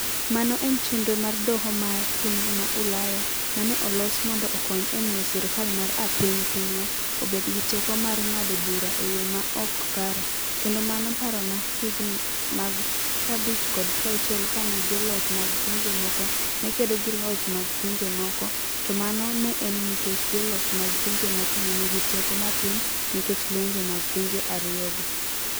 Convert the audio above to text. Mano en chenro mar Doho mar piny ma Ulaya ma ne olos mondo okony e miyo sirkal mar apiny pinywa obed gi teko mar ng'ado bura e yo ma ok kare, kendo mano parona higini mag 50 kod 60 kane joloch mag pinje moko ne kedo gi joloch mag pinje moko, to mano ne en nikech joloch mag pinje moko ne nigi teko matin nikech lwenje mag pinje ariyogo.